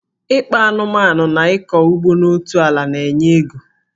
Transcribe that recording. Ịkpa anụmanụ na ịkọ ugbo n'otu ala na-enye ego